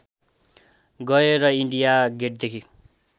गए र इन्डिया गेटदेखि